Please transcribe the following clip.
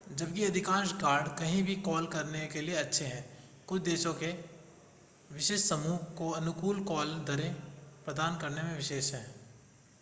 जबकि अधिकांश कार्ड कहीं भी कॉल करने के लिए अच्छे हैं कुछ देशों के विशिष्ट समूहों को अनुकूल कॉल दरें प्रदान करने में विशेष हैं